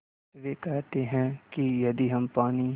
वे कहते हैं कि यदि हम पानी